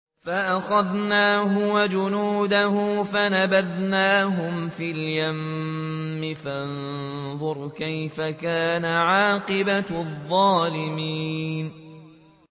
فَأَخَذْنَاهُ وَجُنُودَهُ فَنَبَذْنَاهُمْ فِي الْيَمِّ ۖ فَانظُرْ كَيْفَ كَانَ عَاقِبَةُ الظَّالِمِينَ